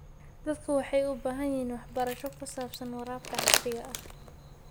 Dadku waxay u baahan yihiin waxbarasho ku saabsan waraabka casriga ah.